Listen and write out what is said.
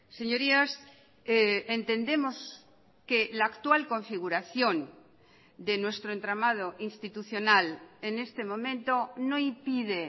señorías entendemos que la actual configuración de nuestro entramado institucional en este momento no impide